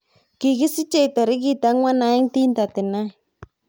Kikisichei tarik 4 1939